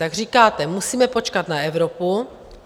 Tak říkáte: musíme počkat na Evropu.